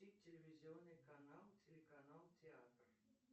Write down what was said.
включи телевизионный канал телеканал театр